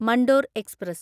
Mandore express